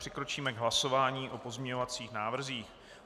Přikročíme k hlasování o pozměňovacích návrzích.